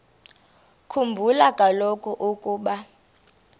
khumbula kaloku ukuba